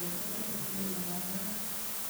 en oret nemapanganat.